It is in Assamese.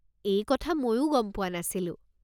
এই কথা মইও গম পোৱা নাছিলো৷